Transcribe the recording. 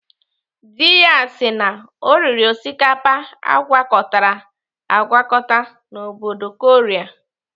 Dị ya sị na ọ riri osikapa agwakọtara agwakọta n'obodo Korea.